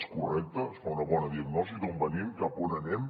és correcte es fa una bona diagnosi d’on venim cap a on anem